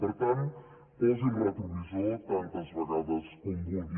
per tant posi el retrovisor tantes vegades com vulgui